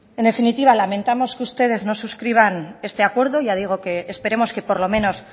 en definitiva lamentamos que ustedes no subscriban este acuerdo ya digo que esperemos que por lo menos